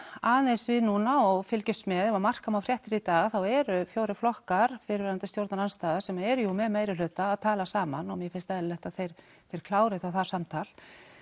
aðeins við núna og fylgjumst með ef marka má fréttir í dag þá eru fjórir flokkar fyrrverandi stjórnarandstaða sem eru jú með meirihluta og að tala saman og mér finnst eðlilegt að þeir þeir klári þá það samtal